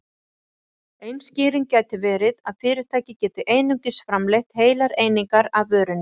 Ein skýring gæti verið að fyrirtæki getur einungis framleitt heilar einingar af vörunni.